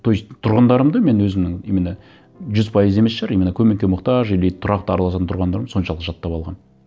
то есть тұрғындарымды мен өзімнің именно жүз пайыз емес шығар именно көмекке мұқтаж или тұрақты араласатын тұрғындарым соншалық жаттап алғанмын